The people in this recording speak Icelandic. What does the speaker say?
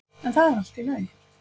En það er allt í lagi.